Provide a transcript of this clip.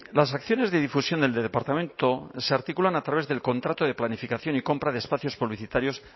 las acciones de difusión del departamento se articulan a través del contrato de planificación y compra de espacios publicitarios